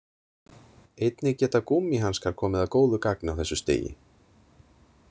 Einnig geta gúmmíhanskar komið að góðu gagni á þessu stigi.